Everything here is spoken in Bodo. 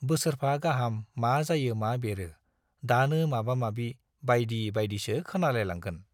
बोसोरफा गाहाम मा जायो मा बेरो - दानो माबा-माबि बाइदि बाइदिसो खोनालायलांगोन।